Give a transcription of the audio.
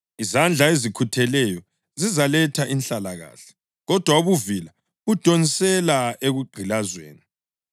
Izandla ezikhutheleyo zizaletha inhlalakahle, kodwa ubuvila budonsela ekugqilazweni.